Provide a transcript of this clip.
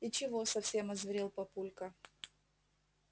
и чего совсем озверел папулька